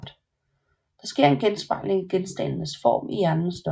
Der sker en genspejling af genstandens form i hjernens stof